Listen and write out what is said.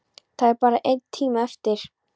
Það er bara einn tími eftir.